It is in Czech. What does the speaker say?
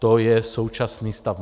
To je současný stav.